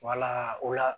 o la